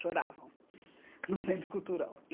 Choravam no Centro Cultural.